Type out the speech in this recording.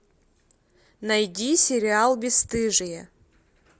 найди сериал бесстыжие